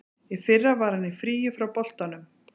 Í fyrra var hann í fríi frá boltanum.